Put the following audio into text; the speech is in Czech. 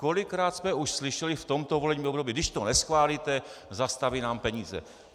Kolikrát jsme už slyšeli v tomto volebním období: Když to neschválíte, zastaví nám peníze.